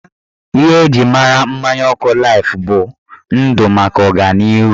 Ihe eji mara mmanya ọkụ laif bụ "Ndụ maka ọganihu"